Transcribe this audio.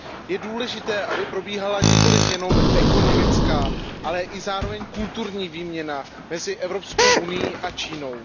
Je důležité, aby probíhala nikoliv jenom ekonomická, ale zároveň i kulturní výměna mezi Evropskou unií a Čínou.